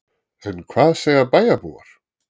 En hvað segja bæjarbúar?